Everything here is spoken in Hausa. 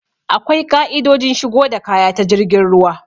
Akwai ƙa'idojin shigo da kaya ta jirgin ruwa.